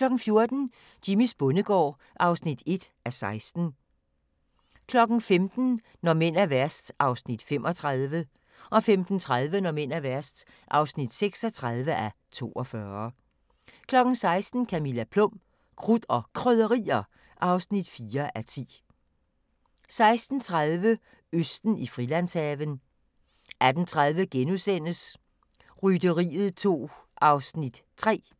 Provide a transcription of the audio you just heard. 14:00: Jimmys bondegård (1:16) 15:00: Når mænd er værst (35:42) 15:30: Når mænd er værst (36:42) 16:00: Camilla Plum – Krudt og Krydderier (4:10) 16:30: Østen i Frilandshaven 18:30: Rytteriet 2 (3:10)*